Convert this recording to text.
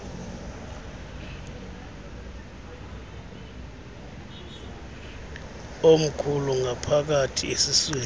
omkhulu ngaphakathi esiswini